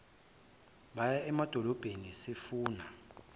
baye emadolobheni sifuna